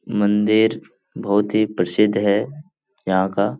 मंदिर बहुत ही प्रसिद्ध है यहाँ का।